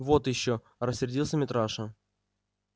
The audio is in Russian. вот ещё рассердился митраша